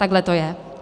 Takhle to je.